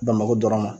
Bamakɔ dɔrɔn ma